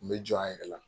N bɛ jɔ an yɛrɛ la